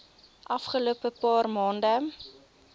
afgelope paar maande